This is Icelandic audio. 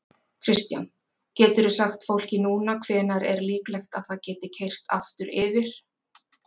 Kristján: Geturðu sagt fólki núna hvenær er líklegt að það geti keyrt aftur yfir?